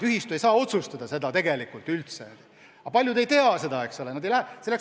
Ühistu ei saa seda tegelikult üldse otsustada, aga paljud ei tea seda.